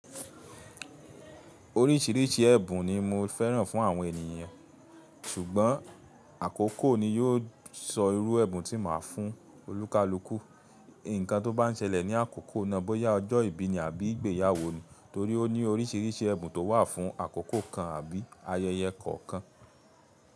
Oríṣìíríṣìí ẹ̀bùn ni mo fẹ́ràn fún àwọn ènìyàn, ṣùgbọ́n àkókò ni yóò sọ irú ẹ̀bùn tí màá fún olúkalúkù. Ǹkan tó bá ń ṣẹlẹ̀ ní àkókò náà bóyá ọjọ́ ìbí ni àbí ìgbéyàwó ni torí ó ní oríṣìíríṣìí ẹ̀bùn tó wà fún àkókò kan àbí ayẹyẹ kọ̀ọ̀kan.